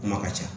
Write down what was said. Kuma ka ca